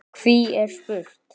Hví er spurt?